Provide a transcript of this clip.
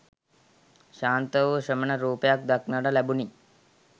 ශාන්ත වූ ශ්‍රමණ රූපයක් දක්නට ලැබුණි.